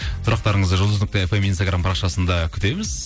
сұрақтарыңызды жұлдыз нүкте фм инстаграм парақшасында күтеміз